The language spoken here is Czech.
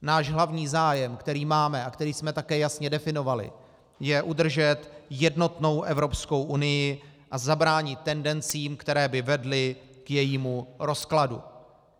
Náš hlavní zájem, který máme a který jsme také jasně definovali, je udržet jednotnou Evropskou unii a zabránit tendencím, které by vedly k jejímu rozkladu.